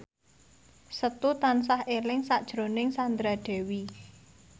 Setu tansah eling sakjroning Sandra Dewi